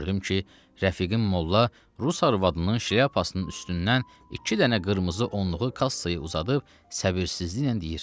Gördüm ki, rəfiqim molla rus arvadının şlyapasının üstündən iki dənə qırmızı onluğu kassaya uzadıb səbirsizliklə deyir.